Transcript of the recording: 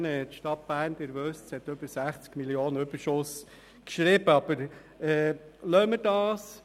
Die Stadt Bern hat über 60 Mio. Franken Überschuss geschrieben, wie Sie wissen.